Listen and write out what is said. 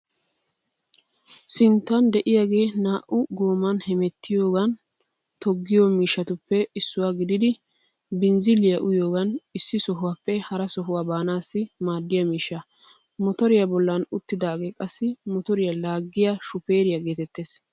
Sinttan de'iyaage naa"u gooman hemettiyogan toggiyo miishshatuppe issuwa gididi binzzilliya uyiyogan issi sohuwaappe hara sohuwaa baanaassi maaddiya miishsha. Motoriya bollan uttidaagee qassi motoriya laaggiya shufeeriya geetettees.